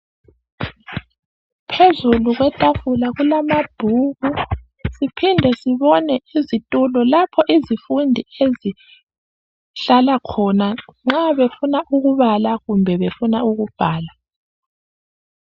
Phezulu kwetafula kulamabhuku siphinde sibone izitulo lapho izifundi ezihlala khona nxa befuna ukubala kumbe befuna ukubhala